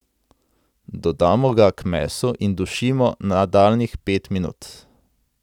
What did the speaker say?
Dodamo ga k mesu in dušimo nadaljnjih pet minut.